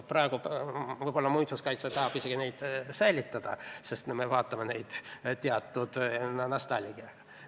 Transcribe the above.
Praegu võib-olla muinsuskaitse tahab seda isegi säilitada, sest me vaatame seda teatud nostalgiaga.